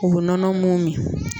U bu nɔnɔ mun min.